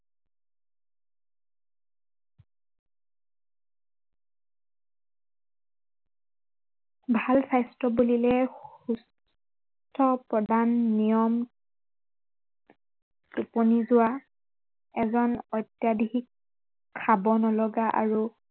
ভাল স্বাস্থ্য় বুলিলে, সুস্থ প্ৰদান, নিয়ম, টোপনি যোৱা, এগাল অত্য়াধিক, খাব নলগা আৰু